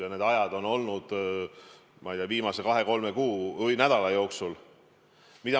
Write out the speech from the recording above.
Ja need ajad on olnud, ma ei tea, viimase kahe, kolme kuu või nädala jooksul.